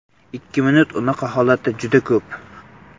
Ikki minut unaqa holatda juda ko‘p.